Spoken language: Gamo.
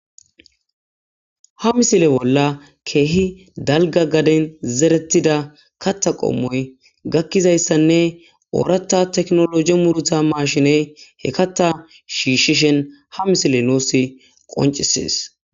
Ha missilen kehi dalga gigida garden zeretida kaththa qommoy betizayssanne oraththa tekinaloje muruta mashshiney he kaththa shishishin ha missiley tas qonccises.